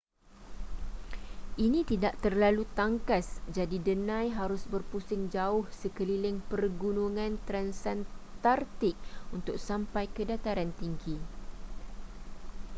ini tidak terlalu tangkas jadi denai harus berpusing jauh sekeliling pergunungan transantartik untuk sampai ke dataran tinggi